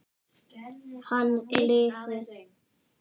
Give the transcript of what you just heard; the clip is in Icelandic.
Hann lifi!